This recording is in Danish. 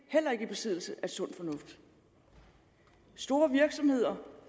heller ikke i besiddelse af sund fornuft store virksomheder